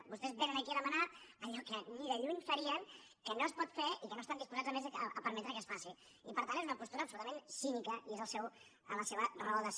vostès vénen aquí a demanar allò que ni de lluny farien que no es pot fer i que no estan disposats a més a permetre que es faci i per tant és una postura absolutament cínica i és la seva raó de ser